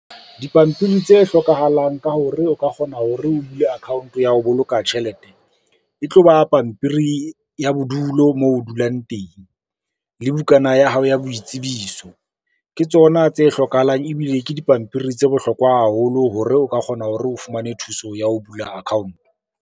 Dipampiri tse hlokahalang ka hore o ka kgona hore o bule account ya ho boloka tjhelete, e tlo ba pampiri ya bodulo moo o dulang teng le bukana ya hao ya boitsebiso, ke tsona tse hlokahalang ebile ke dipampiri tse bohlokwa haholo hore o ka kgona hore o fumane thuso ya ho bula account.